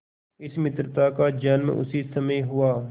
इस मित्रता का जन्म उसी समय हुआ